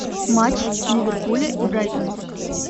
матч ливерпуля и брайтона